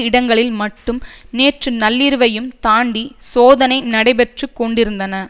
இடங்களில் மட்டும் நேற்று நள்ளிரவையும் தாண்டி சோதனை நடைபெற்று கொண்டிருந்தன